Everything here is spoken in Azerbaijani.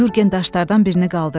Yurgen daşlardan birini qaldırdı.